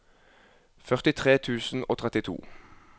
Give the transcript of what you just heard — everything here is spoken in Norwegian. førtitre tusen og trettito